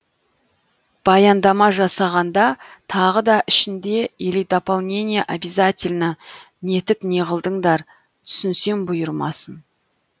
баяндама жасағанда тағы да ішінде или дополнение обязательно нетіп неғылдыңдар түсінсем бұйырмасын